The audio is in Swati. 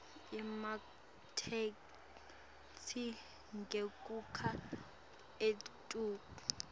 ematheksthi ngekukha etulu